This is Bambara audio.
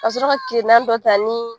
Ka sɔrɔ ka kirina dɔ ta ni